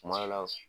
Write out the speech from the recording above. Kuma dɔ la